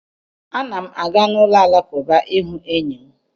Ana m aga n'ụlọ Alakụba ịhụ enyi m